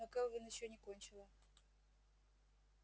но кэлвин ещё не кончила